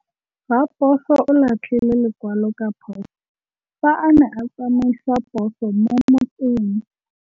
Raposo o latlhie lekwalô ka phosô fa a ne a tsamaisa poso mo motseng.